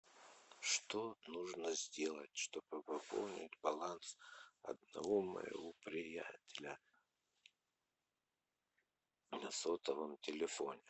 что нужно сделать чтобы пополнить баланс одного моего приятеля на сотовом телефоне